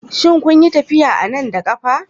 Shin kun yi tafiya a nan da ƙafa?